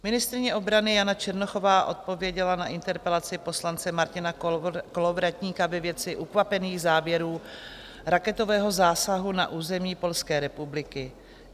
Ministryně obrany Jana Černochová odpověděla na interpelaci poslance Martina Kolovratníka ve věci ukvapených závěrů raketového zásahu na území Polské republiky.